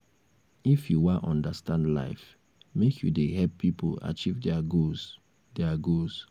if you wan understand life make you dey help pipo achieve their goals. their goals.